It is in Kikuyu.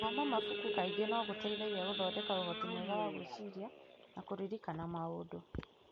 Gũthoma mabuku kaingĩ no gũteithie gũthondeka ũhoti mwega wa gwĩciria na kũririkana maũndũ.